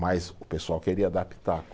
Mas o pessoal queria dar pitaco.